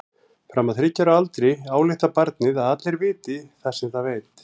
Fram að þriggja ára aldri ályktar barnið að allir viti það sem það veit.